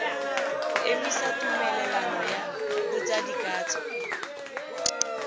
go emisa tumelelano ya botsadikatsho